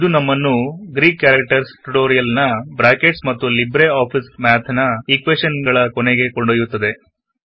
ಇದು ನಮ್ಮನ್ನು Greek characters tutorial ನಬ್ರಾಕೆಟ್ಸ್ ಮತ್ತು ಲಿಬ್ರೆ ಆಫಿಸ್ ನ ಈಕ್ವೆಶನ್ ಗಳ ಕೊನೆಗೆ ಕೊಂಡೊಯ್ಯುತ್ತದೆ